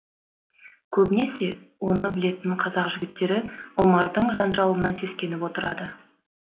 көбінесе оны білетін қазақ жігіттері омардың жанжалынан сескеніп отырады